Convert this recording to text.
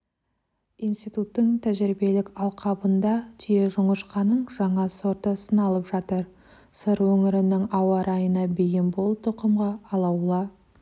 институттың тәжірибелік алқабында түйежоңышқаның жаңа сорты сыналып жатыр сыр өңірінің ауа райына бейім бұл тұқымға алаула